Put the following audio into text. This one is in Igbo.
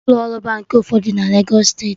Isi ụlọ ọrụ Baankị ụfọdụ dị na Legos steeti